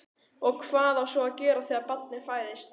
Og hvað á svo að gera þegar barnið fæðist?